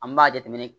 An b'a jateminɛ